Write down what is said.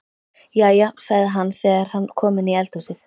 Jæja, sagði hann þegar hann kom inn í eldhúsið.